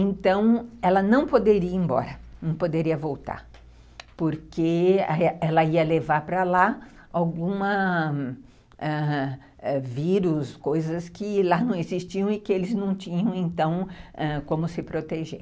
Então, ela não poderia ir embora, não poderia voltar, porque ela ia levar para lá alguma algum vírus, coisas que lá não existiam e que eles não tinham, então, como se proteger.